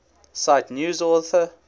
cite news author